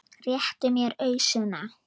Réttu mér ausuna!